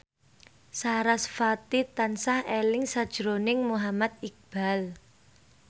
sarasvati tansah eling sakjroning Muhammad Iqbal